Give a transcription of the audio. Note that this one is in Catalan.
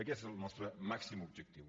aquest és el nostre màxim objectiu